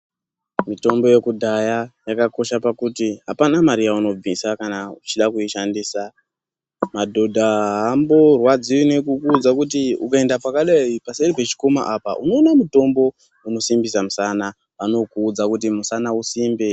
Mitombo yekudhaya yakakosha pakuti hapana mare yaunobvisa. kana uchida kuishandisa. Madhodha haamborwadziwi nekukuudza kuti ukaenda pakadai, paseri pechikomo apa unoona mutombo unosimbisa musana. Anokuudza kuti musana usimbe.